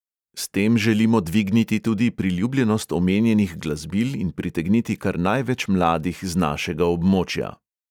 S tem želimo dvigniti tudi priljubljenost omenjenih glasbil in pritegniti kar največ mladih z našega območja.